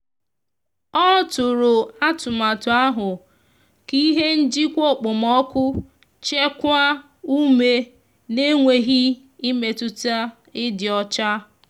ọ tụrụ atụmatụ ahụ ka ihe njikwa okpomọku chekwaa ume na enweghi imetụta idi ọcha